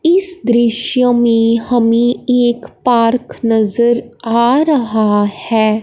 इस दृश्य में हमें एक पार्क नजर आ रहा है।